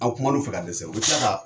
Aw kuma n'o fɛ dɛsɛ. U bɛ tila ka